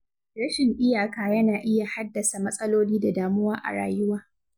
Rashin iyaka yana iya haddasa matsaloli da damuwa a rayuwa.